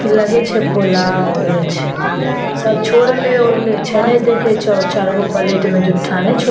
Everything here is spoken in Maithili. लगे छै पुलाव आर छै सब छोरले-उरले छै नै देखो छो चार गो प्लेट मे झुट्ठा नै छो।